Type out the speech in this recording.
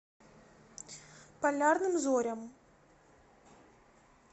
полярным зорям